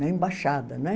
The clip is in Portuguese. Na embaixada, né?